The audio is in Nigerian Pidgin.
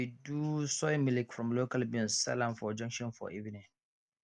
dem dey do soy milk from local beans sell am for junction for evening